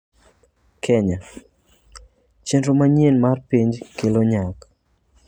Kenya: Chenro manyien mar penj kelo nyak